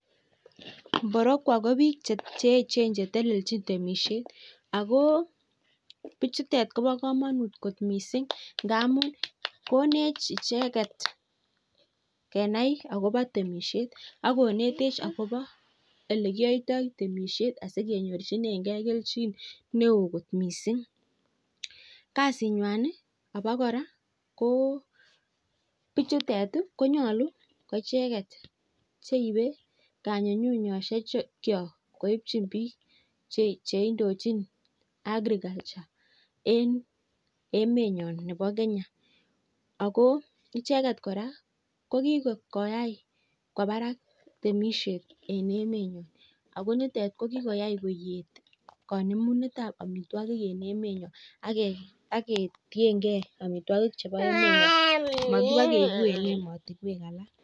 Mborokwo ko bik Che echen Che telelchin temisiet ako bichutet kobo kamanut kot mising ngamun konech icheget kenai agobo temisiet ak konetech agobo Ole kiyoito temisiet as kenyorchinengei kelchin neo kot mising kasinywan abakora ko bichutet ko nyolu ko icheget cheibe kangunyngunyosyekok koibchin bik Che indochin agriculture en emenyon nebo Kenya ago icheget kora ko kikoyai kwo barak temisiet en emenyon ako ko nitet ko kikoyai koet kanemunet ab rabisiek en emenyon ak ketienge amitwogikyok mobo keibu en emotinwek alak